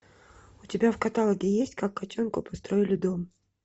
у тебя в каталоге есть как котенку построили дом